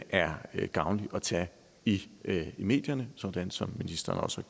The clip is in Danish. er gavnlig at tage i medierne sådan som ministeren også